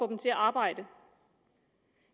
dem til at arbejde